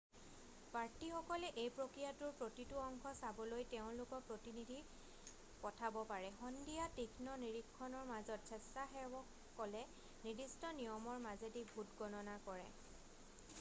প্ৰাৰ্থীসকলে এই প্ৰক্ৰিয়াটোৰ প্ৰতিটো অংশ চাবলৈ তেওঁলোকৰ প্ৰতিনিধি পঠাব পাৰে সন্ধিয়া তীক্ষ্ণ নিৰীক্ষণৰ মাজত স্বেচ্ছাসেৱকলে নিৰ্দিষ্ট নিয়মৰ মাজেদি ভোট গণনা কৰে